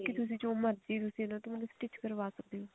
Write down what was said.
ਵੀ ਤੁਸੀਂ ਜੋ ਮਰਜ਼ੀ ਇਹਨਾ ਤੋਂ stitch ਕਰਵਾ ਸਕਦੇ ਹੋ